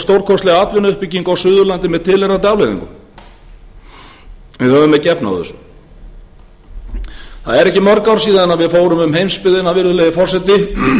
stórkostlega atvinnuuppbyggingu á suðurlandi með tilheyrandi afleiðingum við höfum ekki efni á þessu það eru ekki mörg ár síðan við fórum um heimsbyggðina virðulegi forseti með